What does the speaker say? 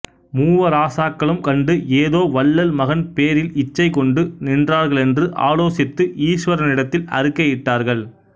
மூவராசாக்களும் கண்டு ஏதோ வள்ளல் மகன் பேரில் இச்சை கொண்டு நின்றார்களென்று ஆலோசித்து ஈஷ்வரனிடத்தில் அறுக்கை இட்டார்கள்